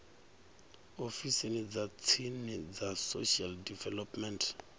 ofisini dza tsini dza social development